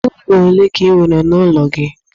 Ime ụlọ ọle ka i nwere n'ụlọ gị?